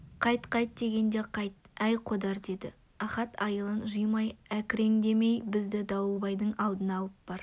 қайт қайт дегенде қайт әй қодар деді ахат айылын жимай әкіреңдемей бізді дауылбайдың алдына алып бар